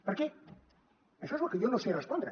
per què això és el que jo no sé respondre